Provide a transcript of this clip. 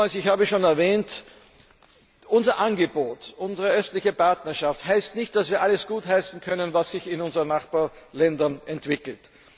Ich habe es schon einmal erwähnt Unser Angebot, unsere Östliche Partnerschaft, heißt nicht, dass wir alles gutheißen können, was sich in unseren Nachbarländern entwickelt.